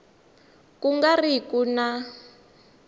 ku nga ri ku na